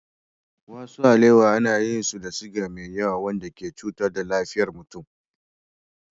Wasu alewa ana yin su da siga mai yawa wanda ke cutar da lafiyar mutum.